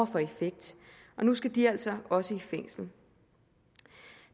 for effekt nu skal de altså også i fængsel